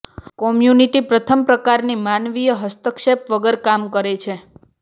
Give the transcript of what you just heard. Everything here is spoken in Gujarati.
કોમ્યુનિટી પ્રથમ પ્રકારની માનવીય હસ્તક્ષેપ વગર કામ કરે છે